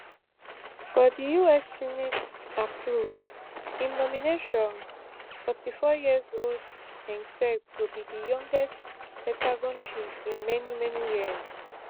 if di us senate approve im nomination forty-four years old hegseth go be di youngest pentagon chief in many many years